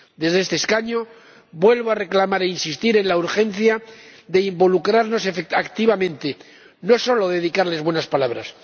Desde este escaño vuelvo a reclamar e insistir en la urgencia de involucrarnos activamente, no solo dedicarles buenas palabras.